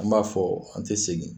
An b'a fɔ an tɛ segin